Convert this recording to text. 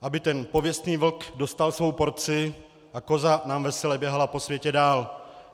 Aby ten pověstný vlk dostal svou porci a koza nám vesele běhala po světě dál.